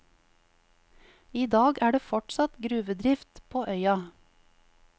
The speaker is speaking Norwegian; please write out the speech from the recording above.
I dag er det fortsatt gruvedrift på øya.